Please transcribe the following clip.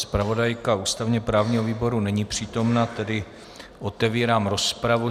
Zpravodajka ústavně-právního výboru není přítomna, tedy otevírám rozpravu.